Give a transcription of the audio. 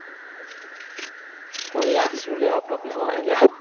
કોઈ ના શું લેવા problem આવે અલ્યા